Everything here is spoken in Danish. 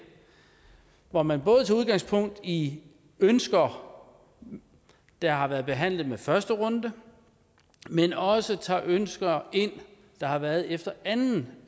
hvor man både tager udgangspunkt i ønsker der har været behandlet ved første runde men også tager ønsker ind der har været efter anden